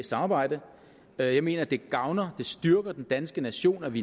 samarbejde jeg mener det gavner og styrker den danske nation at vi